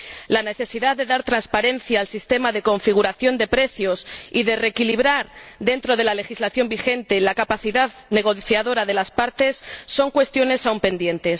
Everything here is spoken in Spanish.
la necesidad de dar transparencia al sistema de configuración de precios y de reequilibrar, dentro de la legislación vigente, la capacidad negociadora de las partes son cuestiones aún pendientes.